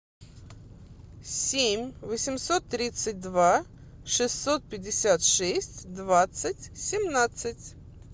семь восемьсот тридцать два шестьсот пятьдесят шесть двадцать семнадцать